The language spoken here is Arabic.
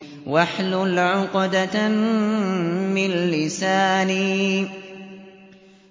وَاحْلُلْ عُقْدَةً مِّن لِّسَانِي